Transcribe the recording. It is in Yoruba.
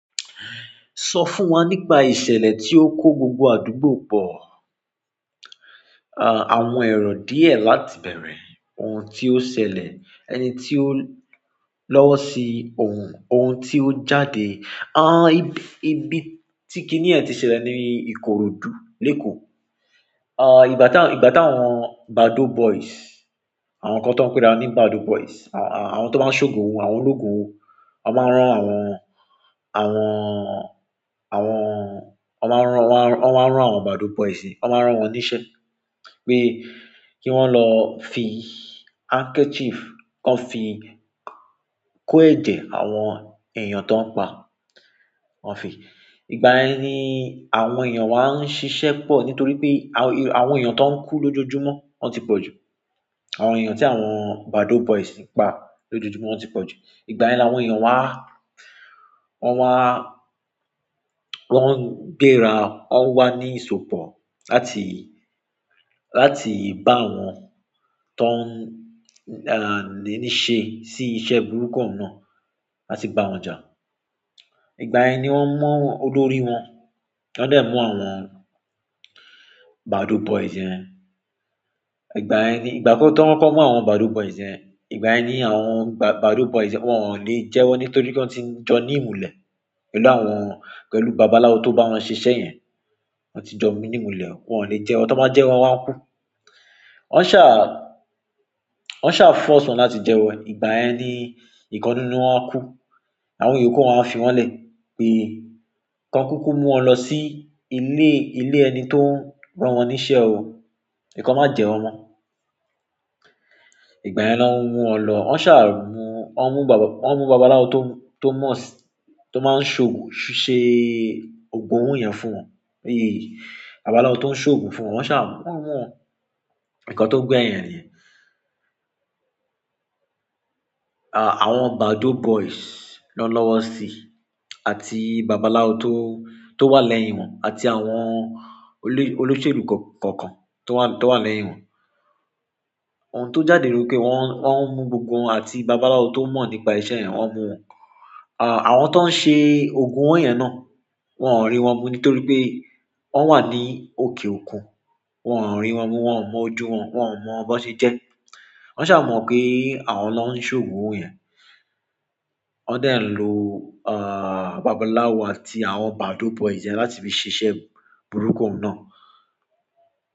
Sọ fún wa nípa ìṣẹ̀lẹ̀ tí ó kó gbogbo àdúgbò pọ. Àwọn èrò díẹ̀ láti bẹ̀rẹ̀, ohun tí ó ṣẹlẹ̀, ẹni tí ó lọ́wọ́ sí òhùn, òhùn tí ó jáde. Àwọn, ibi tí kiní yẹn ti ṣẹlẹ̀ ni Ikorodu, l'èkò. Ìgbà táwọn Badoo boys, àwọn kan tọ ń pe àrà wọ́n ni Badoo boys, àwọn tó máa ń ṣògùn òwò, àwọn ológùn òwó, wọ́n máa ń rán àwọn, àwọn, àwọn, wọ́n máa ń rán, wọ́n máa ń rán àwọn Badoo boys, wọ́n máa ń rán wọn níṣẹ́ pé kí wọ́n lọ fi handkerchief kan fi kó ẹ̀jẹ̀ àwọn èèyàn tọ ń pàà wọ́n fi, ìgbàyẹn ni àwọn èèyàn wa ń ṣiṣẹ́ pọ̀ nítorí pé àwọn èèyàn tó ń kú lójoojúmọ́ ti pọ̀ jù. Àwọn èèyàn tí àwọn Badoo boys ń pa lójoojúmọ́ ti pọ̀ jù. Ìgbà ni àwọn èèyàn wa, wọ́n wá, wọ́n ń gbéra, wọ́n wá ní isopọ̀ láti, láti bá àwọn tó ń, àní ṣe sí iṣẹ́ burúkú náà, láti bá wọn jà. Ìgbà yẹn nì wọ́n mú òlòrì wọn, wọ́n dẹ̀ mú àwọn Badoo boys yẹn ìgbà yẹn nì, ìgbà tí wọ́n kọkọ mù àwọn Badoo boys yẹn, ìgbà yẹn nì àwọn Badoo boys yẹn wọ́n ò lè jẹwọ́ nítòrí pé wọ́n ti jọ ní ìmùlẹ̀ pẹ̀lú àwọn, pẹ̀lú babaláwò tó bá wọn ṣè iṣẹ́ yẹn. Wọ́n ti jọ mú nì ìmùlẹ̀, wọ́n ò lẹ́ jẹwọ, tí wọ́n bá jẹwọ wọ́n máa kú. Wọ́n ṣa, wọ́n ṣà force wọn láti jẹwọ nì, ìgbà yẹni ìkan nínú wọn kú. Àwọn ìyókù wọn fi wọ́n lẹ̀ pé kí wọ́n kúkú mú wọn lọ sí ilé, ilé ẹni tó rán wọ́n níṣẹ́ òò. Ìkan má jẹun mọ́. Ìgbà yẹni wọ́n mú wọn lọ, wọ́n ṣà mú, wọ́n mú bàbà, wọ́n mú babaláwo tó mọ̀ sí, tó máa ń ṣògo ṣe ògùn owó yẹn fún wọn. Pé bàbàláwo tó ń ṣògùn fún wọn, wọ́n ṣà mú wọn. Nkàn tó gbẹyìn ẹ niyèn. Àwọn Badoo boys ló lọ́wọ́ sí i àti babaláwo tó wà lẹ́yìn wọn àti àwọn olóṣèlú kọ̀ọ̀kan tó wà lẹ́yìn wọn. Ohun tó jáde nì pé wọ́n, wọ́n mú gbogbo wọn àti babaláwo tó mọ̀ nípa iṣẹ́ yẹn, wọ́n mú wọn. Àwọn tó ń ṣe ògùn owó yẹn náà wọ́n ò rí wọn mú nítorí pé wọ́n wà ní òkè òkùn. Wọn ò rí wọn mú, wọ́n ò mọ ojú wọn, wọ́n ò mọ bọ ṣe jẹ́ ẹ́. Wọ́n ṣà mù wọn pé àwọn ló ń ṣè ògùn òwó yẹn. Wọ́n dẹ̀ lò babaláwo àti àwọn Badoo boys yẹn láti fi ṣiṣẹ́ burúkú náà.